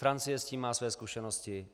Francie s tím má své zkušenosti.